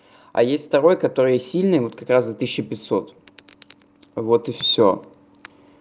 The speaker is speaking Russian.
а есть второй который сильный вот как раз за тысячу пятьсот вот и всё